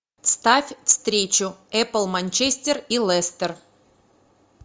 ставь встречу апл манчестер и лестер